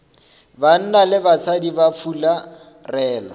banna le basadi ba fularela